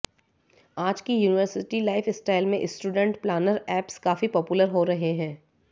आज की university lifestyle में स्टूडेंट प्लानर ऐप्स काफी पॉपुलर हो रहे हैं